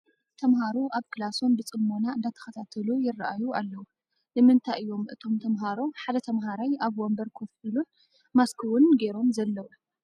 ተምሃሮ ኣብ ክላሶም ብፅሞና እንዳተኸታተሉ ይራኣዩ ኣለው፡፡ ንምንታይ እዮም እቶም ተምሃሮ 1 ተምሃራይ ኣብ 1 ወንበር ከፍ ኢሉን ማስክ ውን ጌሮም ዘለው?